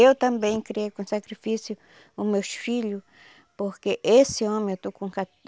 Eu também criei com sacrifício o meus filho, porque esse homem eu estou com